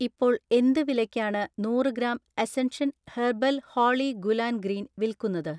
ഇപ്പോൾ എന്ത് വിലയ്ക്കാണ് നൂറ് gram Ascension herbal Holi gulal green വിൽക്കുന്നത്?